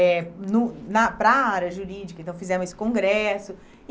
eh no na para a área jurídica, então fizemos esse congresso.